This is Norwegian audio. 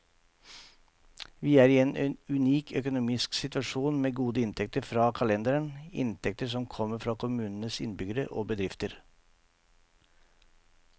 Vi er i en unik økonomisk situasjon, med gode inntekter fra kalenderen, inntekter som kommer fra kommunens innbyggere og bedrifter.